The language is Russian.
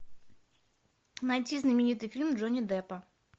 найди знаменитый фильм джонни деппа